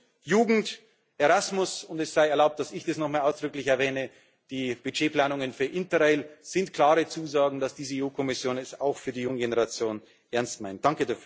Und Jugend Erasmus und es sei erlaubt, dass ich das nochmal ausdrücklich erwähne die Budgetplanungen für Interrail sind klare Zusagen, dass diese EU Kommission es auch für die junge Generation ernst meint.